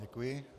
Děkuji.